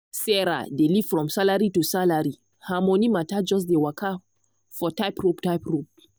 sarah dey live from salary to salary her money matter just dey waka for tight rope. tight rope.